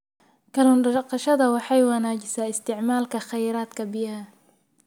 Kallun daqashada waxay wanaajisaa isticmaalka kheyraadka biyaha.